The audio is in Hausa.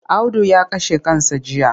Audu ya kashe kansa jiya.